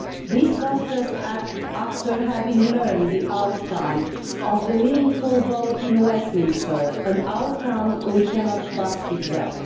This was just after having learned the outcome of the meaningful vote in Westminster, an outcome we cannot but regret.